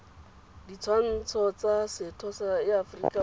ditshwanelo tsa setho ya aforika